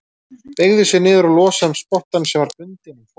Beygði sig niður og losaði um spottann sem var bundinn um pokann.